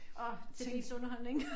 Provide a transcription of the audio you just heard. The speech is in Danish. Og til ens underholdning